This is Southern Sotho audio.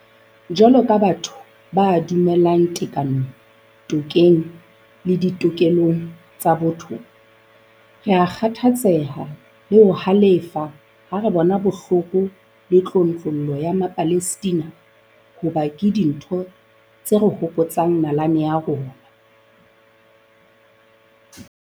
Jwalo ka batho ba dumelang tekanong, tokeng le ditokelong tsa botho, rea kgathatseha le ho halefa ha re bona bohloko le tlontlollo ya Mapalestina hoba ke dintho tse re hopotsang nalane ya rona.